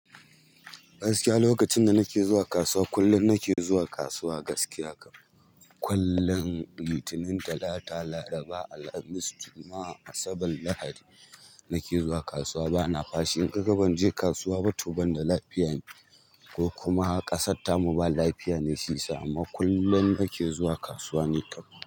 Gaskiya lokacin da nake zuwa kasuwa, kullum nake zuwa kasuwa gaskiya. Kullum Litinin, Talata, Laraba, Alhamis, Juma'a, Asabar, Lahadi nake zuwa kasuwa bana fashi. In kaga ban je kasuwa ba to ban da lafiya ne ko kuma ƙasarta mu ba lafiya ne shi yasa. Amma kullum nake zuwa kasuwa ni kam.